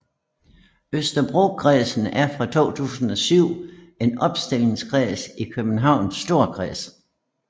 Østerbrokredsen er fra 2007 en opstillingskreds i Københavns Storkreds